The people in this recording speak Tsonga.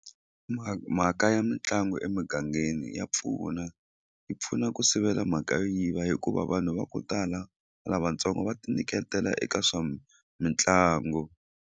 mhaka ya mitlangu emugangeni ya pfuna yi pfuna ku sivela mhaka yo yiva hikuva vanhu va ku tala lavatsongo va ti nyiketela eka swa mitlangu.